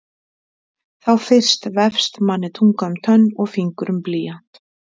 Þá fyrst vefst manni tunga um tönn og fingur um blýant.